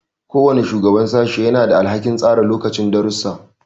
Kowane shugaban sashe yana da alhakin tsara lokacin darussa.